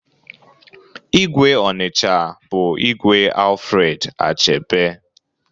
Igwe Onicha bụ Igwe Alfred Achebe